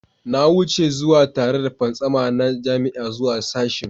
Na wuce tare da fantsama na jami'a zuwa sashen